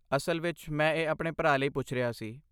ਅਸਲ ਵਿੱਚ, ਮੈਂ ਇਹ ਆਪਣੇ ਭਰਾ ਲਈ ਪੁੱਛ ਰਿਹਾ ਸੀ।